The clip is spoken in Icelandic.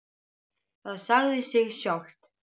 Það sagði sig sjálft.